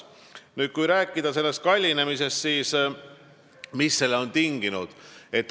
Kui rääkida sellest kallinemisest, siis mis selle on tinginud?